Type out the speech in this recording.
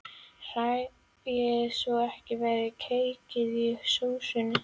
Hrærið svo ekki verði kekkir í sósunni.